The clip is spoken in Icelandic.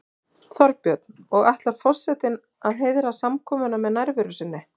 Þorbjörn: Og ætlar forsetinn að heiðra samkomuna með nærveru sinni?